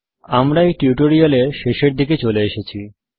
আমরা এই টিউটোরিয়াল এর শেষের দিকে চলে এসেছি